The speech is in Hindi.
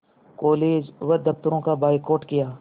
कॉलेज व दफ़्तरों का बायकॉट किया